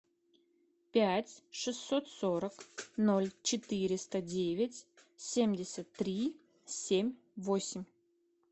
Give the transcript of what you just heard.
пять шестьсот сорок ноль четыреста девять семьдесят три семь восемь